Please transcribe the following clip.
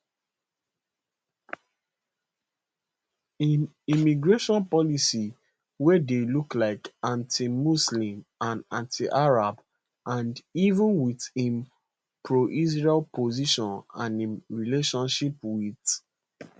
im immigration policy wey dey look like antimuslim and antiarab and even wit im proisrael position and im relationship wit